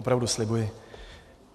Opravdu, slibuji.